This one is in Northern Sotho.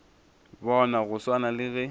bona go swana le ge